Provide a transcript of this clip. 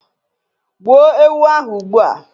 gbuo ewu ahu ugbua